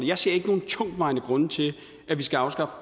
jeg ser ikke nogen tungtvejende grunde til at vi skal afskaffe